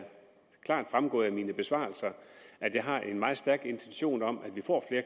fremgået af mine besvarelser at jeg har en meget stærk intention om at vi får